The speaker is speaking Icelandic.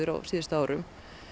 á síðustu árum